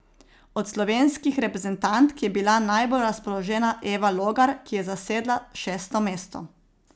Od slovenskih reprezentantk je bila najbolj razpoložena Eva Logar, ki je zasedla šesto mesto.